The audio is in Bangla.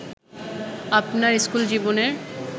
আপনার স্কুলজীবনের